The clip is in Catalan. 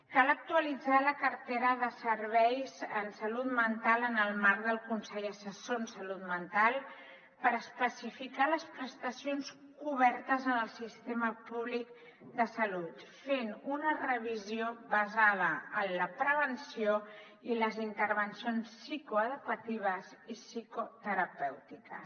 cal actualitzar la cartera de serveis en salut mental en el marc del consell assessor de salut mental per especificar les prestacions cobertes en el sistema públic de salut fent ne una revisió basada en la prevenció i les intervencions psicoeducatives i psicoterapèutiques